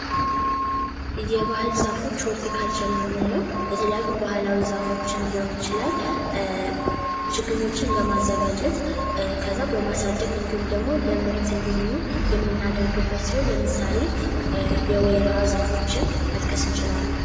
የባህል ዛፎች ሆልቲ ካልቸር የምንለው የተለያዩ ባህላዊ ዛፎችን ሊሆን ይችላል፤ ችግኞችን በማዘጋጀት ከዚያ በማሳደግ እንዲሁም ደግሞ ለምርት እንዲሆኑ የምናደርግበት ሲሆን ለምሳሌ የወይራ ዛፎች መጥቀስ እንችላለን።